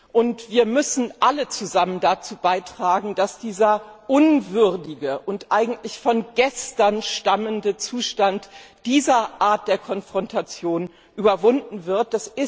und wir müssen alle zusammen dazu beitragen, dass dieser unwürdige und eigentlich von gestern stammende Zustand dieser Art der Konfrontation überwunden wird.